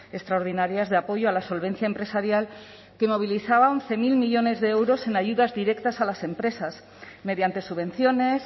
extraordinarias de apoyo a la solvencia empresarial que movilizaba once mil millónes de euros en ayudas directas a las empresas mediante subvenciones